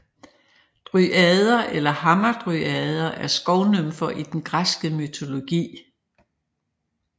Dryader eller hamadryader er skovnymfer i den græske mytologi